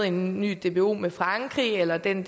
en ny dbo med frankrig eller den